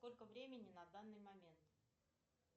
сколько времени на данный момент